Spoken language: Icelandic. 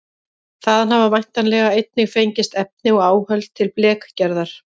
Þaðan hafa væntanlega einnig fengist efni og áhöld til blekgerðar.